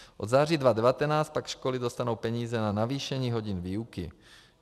Od září 2019 pak školy dostanou peníze na navýšení hodin výuky.